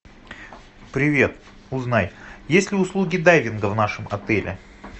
привет узнай есть ли услуги дайвинга в нашем отеле